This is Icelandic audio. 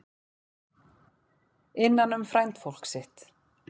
Innan um frændfólk sitt